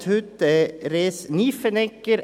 Präsident ist heute Res Nyffenegger.